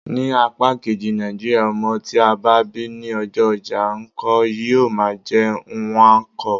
Ní apá kejì Nàìjíríà, ọmọ tí a bá bí ní ọjọ́ ojá nkwo, yíó máà jé Nnwanko.